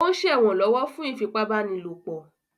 Ó ń ṣẹ̀wọ̀n lọ́wọ́ fún ìfipábánilòpọ̀.